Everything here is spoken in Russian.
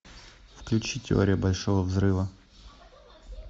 включи теория большого взрыва